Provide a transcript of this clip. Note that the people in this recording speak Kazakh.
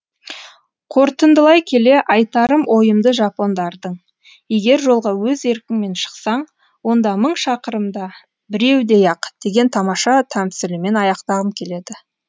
қортындылай келе айтарым ойымды жапондардың егер жолға өз еркіңмен шықсаң онда мың шақырымда біреудей ақ деген тамаша тәмсілімен аяқтағым келеді